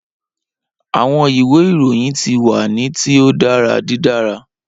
Awọn iwe irohin ti wa ni ti o dara didara.